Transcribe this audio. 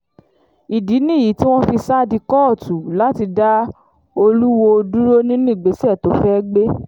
ìdí nìyí tí wọ́n fi sá di kóòtù láti dá olùwòo dúró nínú ìgbésẹ̀ tó fẹ́ẹ́ gbé